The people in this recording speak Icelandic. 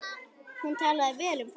Hún talaði vel um fólk.